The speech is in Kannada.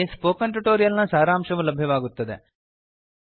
ಅಲ್ಲಿ ಸ್ಪೋಕನ್ ಟ್ಯುಟೋರಿಯಲ್ ನ ಸಾರಾಂಶವು ಲಭ್ಯವಾಗುತ್ತದೆ